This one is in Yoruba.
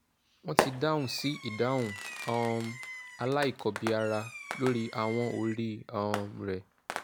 wọ́n ti dáhùn sí ìdáhùn um aláìkọbìára lórí ahọ́n orí um rẹ